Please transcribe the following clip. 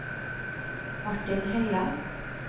Martin Helle